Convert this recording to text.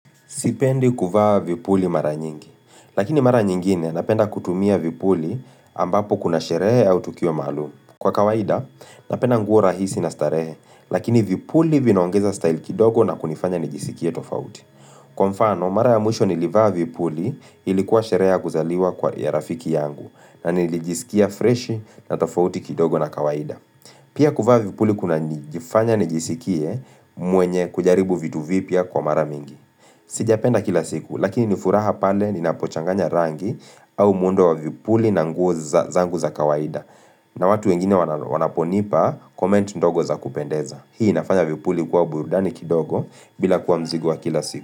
Sipendi kuvaa vipuli mara nyingi, lakini mara nyingine napenda kutumia vipuli ambapo kuna sherehe au tukio maalum. Kwa kawaida, napenda nguo rahisi na starehe, lakini vipuli vinaongeza style kidogo na kunifanya nijisikie tofauti. Kwa mfano, mara ya mwisho nilivaa vipuli ilikuwa shereha kuzaliwa kwa ya rafiki yangu na nilijisikia fresh na tofauti kidogo na kawaida. Pia kuvaa vipuli kuna nijifanya nijisikie mwenye kujaribu vitu vipia kwa mara mingi. Sijapenda kila siku lakini nifuraha pale ninapochanganya rangi au mundo wa vipuli na nguo za kawaida na watu wengine wanaponipa koment ndogo za kupendeza Hii nafanya vipuli kuwa burudani kidogo bila kuwa mzigo wa kila siku.